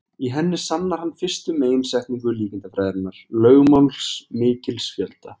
Í henni sannar hann fyrstu meginsetningu líkindafræðinnar, lögmál mikils fjölda.